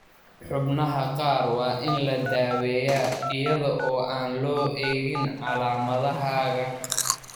Xubnaha qaar waa in la daaweeyaa, iyada oo aan loo eegin calaamadahaaga.